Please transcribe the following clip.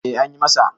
eh an yi masa